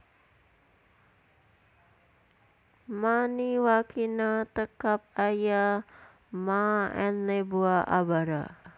Ma ni wakina te kab aia Ma n neboa abara